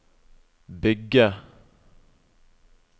bygge